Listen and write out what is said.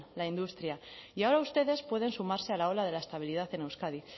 la industria y ahora ustedes pueden sumarse a la ola de la estabilidad en euskadi